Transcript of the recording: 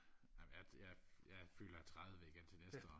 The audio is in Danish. amen jeg jeg jeg fylder tredive igen til næste år